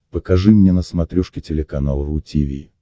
покажи мне на смотрешке телеканал ру ти ви